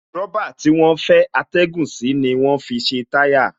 Rọ̀bà tí wọ́n fẹ́ atẹ́gùn sí ni wọ́n fi ṣe táyà